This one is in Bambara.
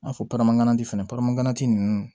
I n'a fɔ baramaji fɛnɛ ganti nunnu